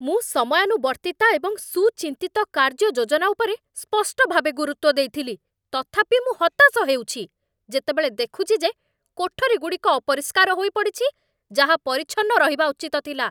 ମୁଁ ସମୟାନୁବର୍ତ୍ତିତା ଏବଂ ସୁଚିନ୍ତିତ କାର୍ଯ୍ୟଯୋଜନା ଉପରେ ସ୍ପଷ୍ଟ ଭାବେ ଗୁରୁତ୍ୱ ଦେଇଥିଲି, ତଥାପି ମୁଁ ହତାଶ ହେଉଛି, ଯେତେବେଳେ ଦେଖୁଛି ଯେ କୋଠରୀଗୁଡ଼ିକ ଅପରିଷ୍କାର ହୋଇପଡ଼ିଛି, ଯାହା ପରିଚ୍ଛନ୍ନ ରହିବା ଉଚିତ ଥିଲା!